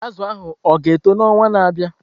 Azụ ahụ ọ ga-eto n'ọnwa na-abịa?